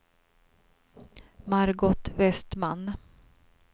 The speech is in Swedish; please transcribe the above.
Margot Vestman